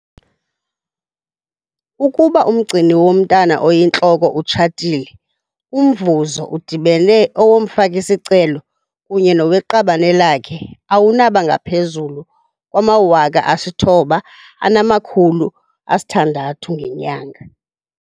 Ukuba umgcini womntwana oyintloko utshatile, umvuzo udibene owomfaki-sicelo kunye noweqabane lakhe awunaba ngaphezulu kwama-R9 600 ngenyanga.